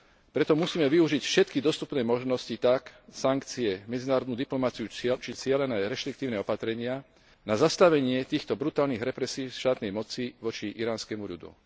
Preto musíme využiť všetky dostupné možnosti tak sankcie, medzinárodnú diplomaciu, či cielené reštriktívne opatrenia na zastavenie týchto brutálnych represií štátnej moci voči iránskemu ľudu.